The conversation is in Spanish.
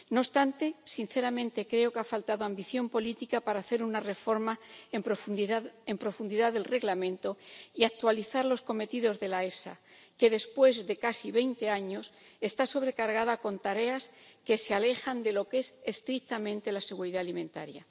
No obstante, sinceramente creo que ha faltado ambición política para hacer una reforma en profundidad del Reglamento y actualizar los cometidos de la EFSA que, después de casi veinte años, está sobrecargada con tareas que se alejan de lo que es estrictamente la seguridad alimentaria.